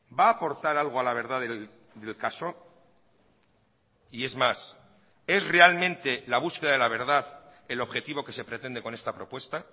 va a aportar algo a la verdad del caso y es más es realmente la búsqueda de la verdad el objetivo que se pretende con esta propuesta